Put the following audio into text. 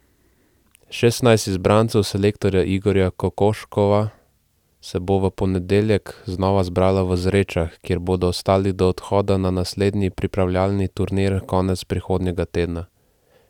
Šestnajst izbrancev selektorja Igorja Kokoškova se bo v ponedeljek znova zbralo v Zrečah, kjer bodo ostali do odhoda na naslednji pripravljalni turnir konec prihodnjega tedna.